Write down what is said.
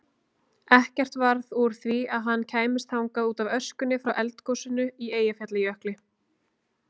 Ekkert varð úr því að hann kæmist þangað útaf öskunni frá eldgosinu í Eyjafjallajökli.